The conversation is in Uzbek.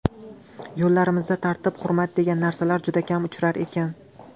Yo‘llarimizda tartib, hurmat degan narsalar juda kam uchrar ekan.